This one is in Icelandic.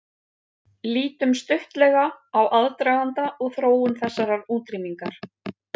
Lítum stuttlega á aðdraganda og þróun þessarar útrýmingar.